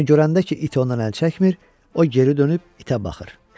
Amma görəndə ki, it ondan əl çəkmir, o geri dönüb itə baxır.